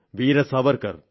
Veera Savarkar